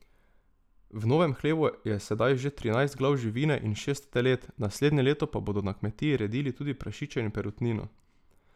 V novem hlevu je sedaj že trinajst glav živine in šest telet, naslednje leto pa bodo na kmetiji redili tudi prašiče in perutnino.